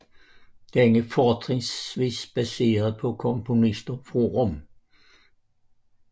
Den er fortrinsvis baseret på komponister fra Rom